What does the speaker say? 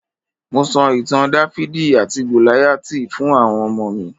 Mo sọ ìtàn Dáfídì àti Gòláyátì fún àwọn ọmọ mi.